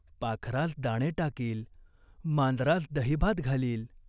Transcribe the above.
पाखरास दाणे टाकील, मांजरास दहीभात घालील.